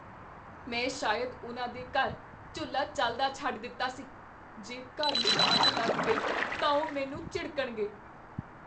ਮੈਂ ਸ਼ਾਇਦ ਉਨ੍ਹਾਂ ਦੇ ਘਰ ਚੁੱਲ੍ਹਾ ਚੱਲਦਾ ਛੱਡ ਦਿੱਤਾ ਸੀ। ਜੇ ਘਰ ਨੂੰ ਅੱਗ ਲੱਗ ਗਈ ਤਾਂ ਉਹ ਮੈਨੂੰ ਝਿੜਕਣਗੇ।